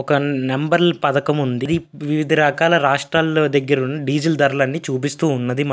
Transformer దగ్గర ఒక నంబర్ల పథకం ఉంది. అది వివిధ రకాల రాష్ట్రాల దగ్గర ఉన్న --